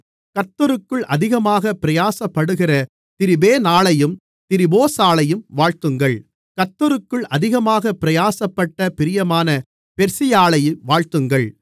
கர்த்தருக்குள் அதிகமாக பிரயாசப்படுகிற திரிபேனாளையும் திரிபோசாளையும் வாழ்த்துங்கள் கர்த்தருக்குள் அதிகமாக பிரயாசப்பட்ட பிரியமான பெர்சியாளை வாழ்த்துங்கள்